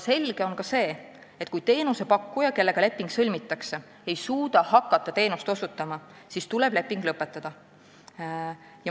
Selge on ka see, et kui teenusepakkuja, kellega leping sõlmitakse, ei suuda hakata teenust osutama, siis tuleb leping lõpetada.